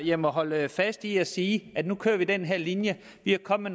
jeg må holde fast i at sige at nu kører vi den her linje vi er kommet